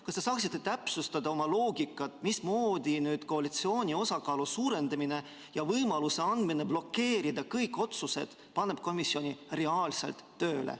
Kas te saaksite täpsustada oma loogikat, mismoodi koalitsiooni osakaalu suurendamine ja see, kui antakse võimalus blokeerida kõik otsused, paneb komisjoni reaalselt tööle?